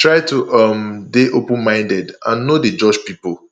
try to um dey open minded and no dey judge pipo